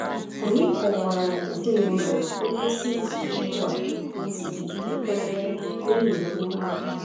Anyị kọwaara ezinụlọ na ngwụsị izu ugbu a siri ike karịa n’ihi nwa ahụ.